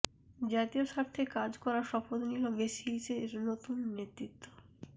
জাতীয় স্বার্থে কাজ করার শপথ নিল বেসিসের নতুন নেতৃত্ব